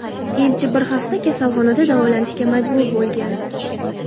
Elchi bir hafta kasalxonada davolanishga majbur bo‘lgan .